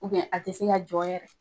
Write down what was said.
Ubiyɛn a te se ka jɔ yɛrɛ